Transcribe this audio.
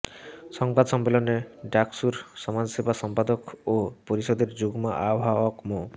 সংবাদ সম্মেলনে ডাকসুর সমাজসেবা সম্পাদক ও পরিষদের যুগ্ম আহ্বায়ক মো